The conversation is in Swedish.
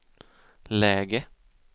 läge